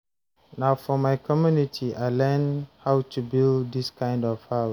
Na for my community I learn how to build dis kind of house.